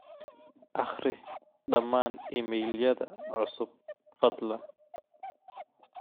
akhri dhamaan iimaylyada cusub fadlan